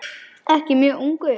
Ekki mjög ungur.